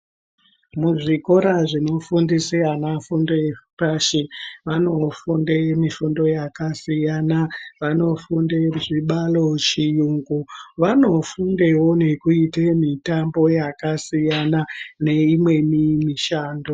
Muzvikora zvinofundiswa ana fundo yepashi vanofunda mifundo yakasiyana vanofunda zvibaro chirungu vanofundewo kuita mitambo yakasiyana neimweni mishando.